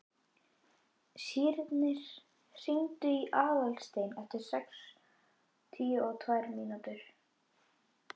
Sírnir, hringdu í Aðalstein eftir sextíu og tvær mínútur.